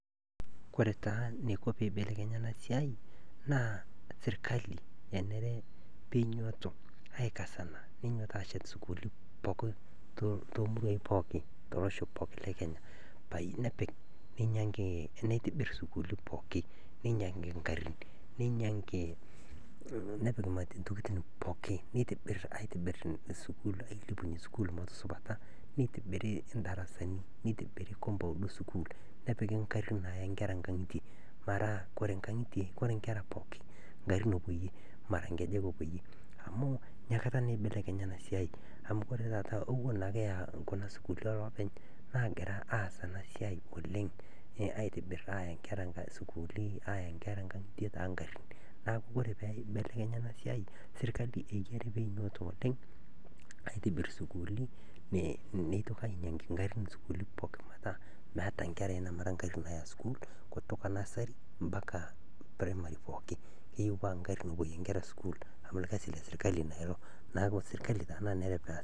Kore taa neiko peeibelekenya ana siai naa sirkali enere peinyototo aikasana neinyototo aashet sukuuli pooki too muruai pookin to losho pooki le Kenya nepik neinyang'aki nepik sukuuli pookin nkarrin nepik ntokitin pookin neilepunye sukuuli pookin motusupata neitobiri ndarasani neitobiri compound e sukuul nepiki nkarrin naaya nkera nkang'ite metaa kore nkera pookin nkarrin epuoyie mara nkejek epuoyie amu nia kata naake eibelekenya ana siai amu kore taata ewuon naake eyaa kuna sukuuli ee loopeny' naagira aasita ana siai oleng' aaya nkera sukuuli neya nkang'ite taa nkarrin. Naaku kore peeibelekenya ana siai sirkali eyiari peinyototo oleng' aaitibirr sukuuli neinyang'aki nkarrin sukuuli pookin metaa meatae nkerai namara nkarri Naya sukuul, kutuka nursery mpaka primary pookin keyieu metaa nkarrin epuoyie nkera sukuul amu lgasi le sirkali naa ilo. Naaku sirkali taa nanere peas.